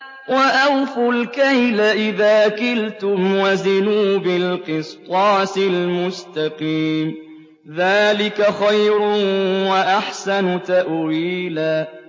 وَأَوْفُوا الْكَيْلَ إِذَا كِلْتُمْ وَزِنُوا بِالْقِسْطَاسِ الْمُسْتَقِيمِ ۚ ذَٰلِكَ خَيْرٌ وَأَحْسَنُ تَأْوِيلًا